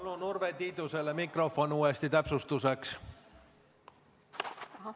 Palun Urve Tiidusele mikrofon täpsustuseks!